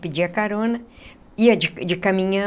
Pedia carona, ia de de caminhão.